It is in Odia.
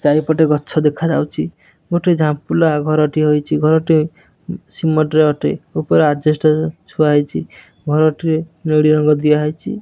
ଚାରିପଟେ ଗଛ ଦେଖାଯାଉଚି ଗୋଟେ ଝମ୍ପୁଲା ଘରଟିଏ ହୋଇଚି ଘରଟି ସିମେଣ୍ଟ ର ଅଟେ ଉପରେ ଅଜେଷ୍ଟ ଛୁଆ ହୋଇଛି ଘରଟି ନେଳୀ ରଙ୍ଗ ଦିଆ ହେଇଚି ।